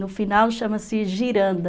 No final chama-se giranda.